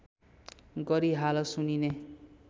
गरी हाल सुनिने